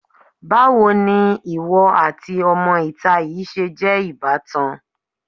Báwo ni ìwọ àti ọmọ-ìta yìí ṣe jẹ́ ìbátan?